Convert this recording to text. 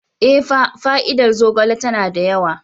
Ee, fa fa'ida zogale tana da yawa.